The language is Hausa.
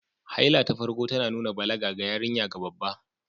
Haila ta farko tana nuna balaga ga yarinya ga babba